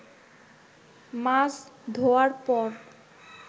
মাছ ধোয়ার পর